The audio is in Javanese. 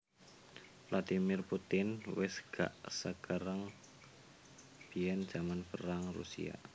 Vladimir Putin wes gak sekereng biyen jaman perang Rusia